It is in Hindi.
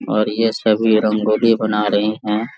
और ये सभी रंगोली बना रहे हैं।